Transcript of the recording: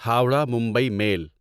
Howrah Mumbai میل